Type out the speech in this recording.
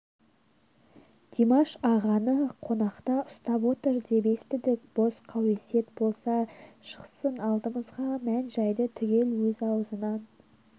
димаш ағаны қамақта ұстап отыр деп естідік бос қауесет болса шықсын алдымызға мән-жайды түгел өзі аузынан